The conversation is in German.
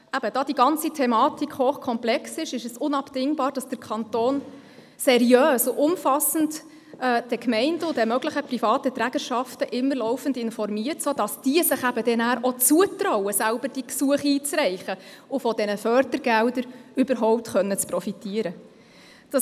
Da diese Thematik hochkomplex ist, ist es unabdingbar, dass der Kanton die Gemeinden und die möglichen privaten Trägerschaften laufend seriös und umfassend informiert, sodass sich diese dann auch zutrauen, selber solche Gesuche einzureichen, um von diesen Fördergeldern profitieren zu können.